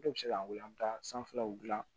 Dɔ bɛ se ka wele an bɛ taa sanfɛlaw dilan